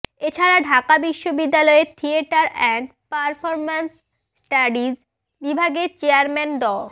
এ ছাড়া ঢাকা বিশ্ববিদ্যালয়ের theatre and performance studies বিভাগের চেয়ারম্যান ড